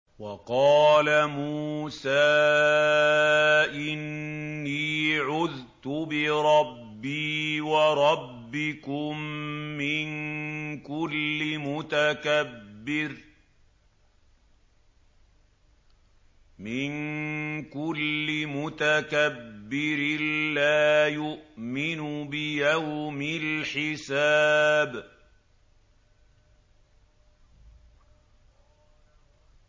وَقَالَ مُوسَىٰ إِنِّي عُذْتُ بِرَبِّي وَرَبِّكُم مِّن كُلِّ مُتَكَبِّرٍ لَّا يُؤْمِنُ بِيَوْمِ الْحِسَابِ